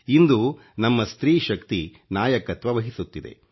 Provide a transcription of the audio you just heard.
ಇಂದು ನಮ್ಮ ಸ್ತ್ರೀಶಕ್ತಿ ನಾಯಕತ್ವ ವಹಿಸುತ್ತಿದೆ